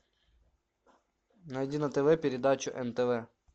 найди на тв передачу нтв